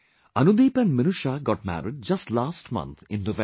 Anudeep and Minusha got married just last month in November